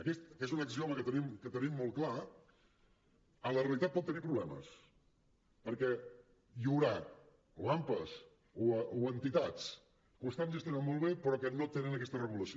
aquest que és un axioma que tenim molt clar a la realitat pot tenir problemes perquè hi haurà ampas o entitats que ho estan gestionant molt bé que no tenen aquesta regulació